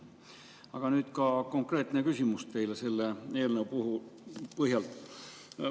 Aga nüüd konkreetne küsimus teile selle eelnõu põhjal.